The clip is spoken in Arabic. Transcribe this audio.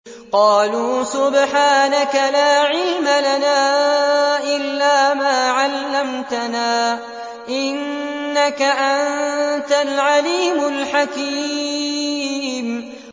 قَالُوا سُبْحَانَكَ لَا عِلْمَ لَنَا إِلَّا مَا عَلَّمْتَنَا ۖ إِنَّكَ أَنتَ الْعَلِيمُ الْحَكِيمُ